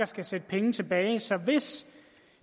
skal sætte penge tilbage så hvis